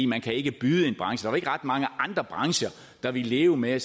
man kan ikke byde branchen var ikke ret mange andre brancher der ville leve med